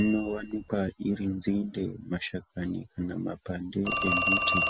inowanikwa iri nzinde, mashakani kana mapande embiti.